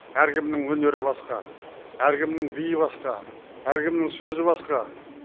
әркімнің өнері басқа әркімнің биі басқа әркімнің сөзі басқа